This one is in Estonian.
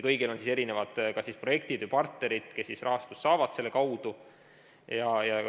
Kõigil on kas projektid või partnerid, kes selle kaudu rahastust saavad.